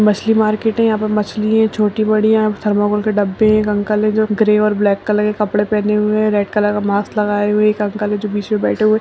मछली मार्केट हैयहाँ पे मछली है छोटी बड़ी हैं थर्मोकोल के डब्बे हैं। एक अंकल है जो ग्रे और ब्लैक कलर के कपड़े पहने हुए हैं रेड कलर का मास्क लगाए हुए एक अंकल जो बीच में बैठे हुए।